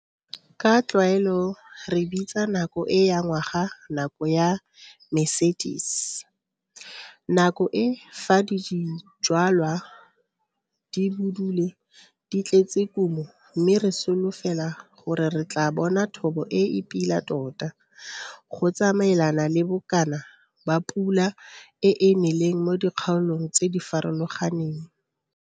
Ka tlwaelo re bitsa nako e ya ngwaga nako ya Mercedes. Nako e fa dijwalwa di budule di tletse kumo mme re solofela gore re tlaa bona thobo e e pila tota, go tsamaelana le bokana ba pula e e neleng mo dikgaolong tse di farologaneng.